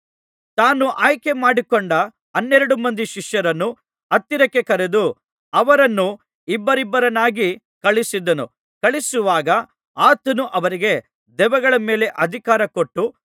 ತಾನು ಆಯ್ಕೆಮಾಡಿಕೊಂಡ ಹನ್ನೆರಡು ಮಂದಿ ಶಿಷ್ಯರನ್ನು ಹತ್ತಿರಕ್ಕೆ ಕರೆದು ಅವರನ್ನು ಇಬ್ಬಿಬ್ಬರನ್ನಾಗಿ ಕಳುಹಿಸಿದನು ಕಳುಹಿಸುವಾಗ ಆತನು ಅವರಿಗೆ ದೆವ್ವಗಳ ಮೇಲೆ ಅಧಿಕಾರ ಕೊಟ್ಟು